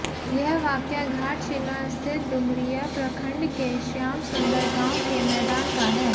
यह वाकया घाटशिला स्थित डुमरिया प्रखंड के श्यामसुंदर गांव के मैदान का है